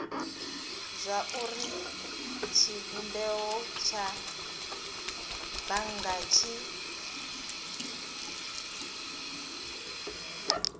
zwauri tshivhumbeo tsha bannga tshi